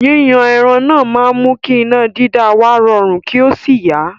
́Yíyan ẹran náà máa mú kí iná dídá wa rọrun, kí ó sì yá.